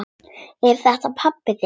Er þetta pabbi þinn?